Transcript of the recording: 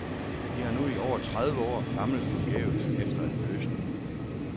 De har nu i over tre år famlet forgæves efter en løsning.